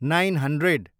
nine hundred